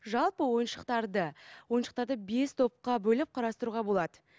жалпы ойыншықтарды ойыншықтарды бес топқа бөліп қарастыруға болады